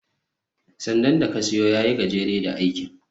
sandan da ka siyo ya yi gajere da aikin